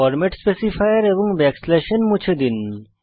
format specifier এবং n মুছে ফেলুন